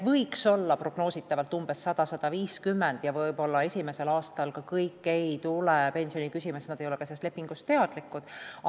Prognoositavalt on neid praegu 100–150 ja võib-olla esimesel aastal kõik ei tule pensioni küsima, sest nad ei ole sellest lepingust teadlikud.